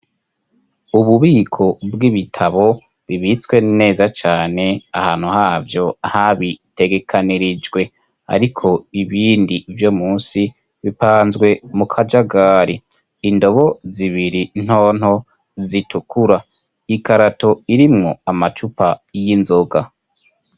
Ububiko bw'ibitabo bibitswe neza cane ahantu havyo habitegekanirijwe ariko ibindi vyo munsi bipanzwe mu kajagari, indobo zibiri ntonto zitukura, ikarato irimwo amacupa y'inzoga.